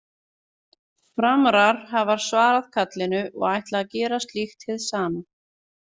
Framarar hafa svarað kallinu og ætla gera slíkt hið sama.